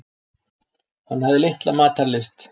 Hann hafði litla matarlyst.